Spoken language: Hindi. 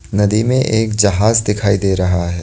नदी में एक जहाज दिखाई दे रहा है।